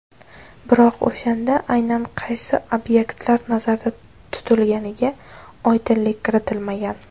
Biroq o‘shanda aynan qaysi obyektlar nazarda tutilganiga oydinlik kiritilmagan.